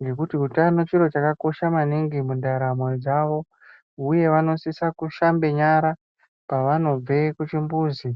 ngekuti utano chiro chaka kosha maningi mundaramo dzavo uye vanosise kushamba nyara pavanobva ku chimbuzi.